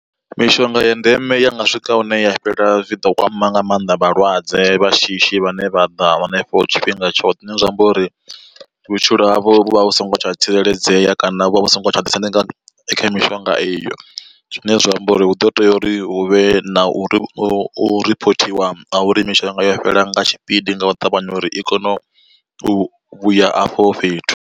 Mishonga ya ndeme ya nga swika hune ya fhela zwi ḓo kwama nga mannḓa vhalwadze vha shishi vhane vha ḓa hanefho tshifhinga tshoṱhe. Zwine zwa amba uri vhutshilo havho vhu vha vhu songo tsha tsireledzea kana vhu vha vhu songo tsha ḓisendeka kha mishonga iyo, zwine zwa amba uri hu ḓo tea uri hu vhe na u ripotiwa nga uri mishonga yo fhela nga tshipidi nga u ṱavhanya uri i kone u vhuya afho fhethu.